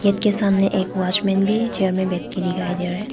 Gate के सामने एक वॉचमैन भी चेयर में बैठ के दिखाई दे रहा है।